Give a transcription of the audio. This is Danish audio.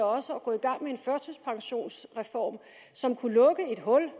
også at gå i gang med en førtidspensionsreform som kunne lukke et hul